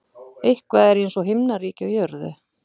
Eitthvað er eins og himnaríki á jörðu